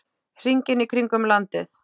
Hringinn í kringum landið?